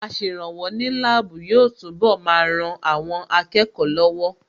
Aṣèrànwọ́ ní láàbù yóò túnbọ̀ máa ran àwọn akẹ́kọ̀ọ́ lọ́wọ́